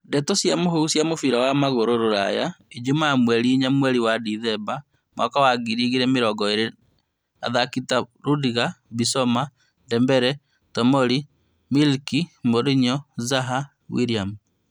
Ndeto cia mũhuhu cia mũbira wa magũrũ Rũraya ijumaa mweri inya mweri wa Decemba mwaka wa ngiri igĩrĩ mĩrongo ĩrĩ athaki ta Rudiger, Bissouma, Dembele Tomori, Milik, Mourinho, Zaha, Williams